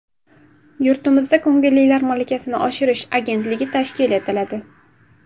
Yurtimizda Ko‘ngillilar malakasini oshirish agentligi tashkil etiladi.